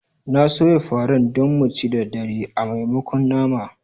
N'na soyan farar Dan mu ci da dare a maimakon nama